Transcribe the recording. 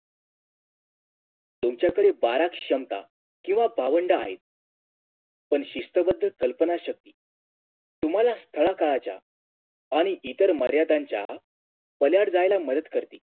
तुमच्याकडे पारख क्षमता किव्हा भावंडं आहेत पण शिस्तबद्ध कल्पना शक्ती तुम्हाला स्थळा काळाच्या आणि इतर मर्याद्यांच्या पल्याड जायला मदत करते